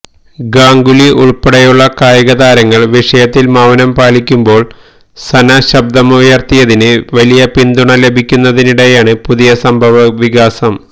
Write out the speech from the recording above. ഗാംഗുലി ഉള്പ്പെടെയുള്ള കായിക താരങ്ങള് വിഷയത്തില് മൌനം പാലിക്കുമ്പോള് സന ശബ്ദമുയര്ത്തിയതിന് വലിയ പിന്തുണ ലഭിക്കുന്നതിനിടെയാണ് പുതിയ സംഭവവികാസം